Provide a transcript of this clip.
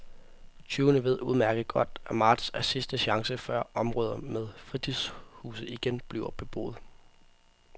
Tyvene ved udmærket godt, at marts er sidste chance, før områder med fritidshuse igen bliver beboet.